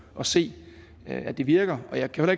og se at det virker jeg kan